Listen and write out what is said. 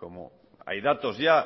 como hay datos ya